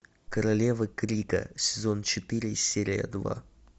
королева крика сезон четыре серия два